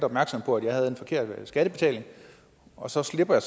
opmærksom på at de havde en forkert skattebetaling og så slipper